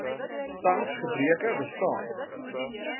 tans gebreke bestaan